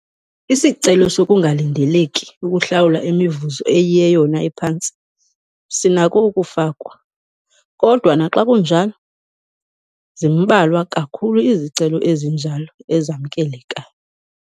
Isicelo sokungalindeleki ukuhlawula imivuzo eyiyeyona iphantsi sinako ukufakwa, kodwa naxa kunjalo, zimbalwa kakhulu izicelo ezinjalo ezamkelekayo.